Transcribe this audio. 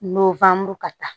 ka taa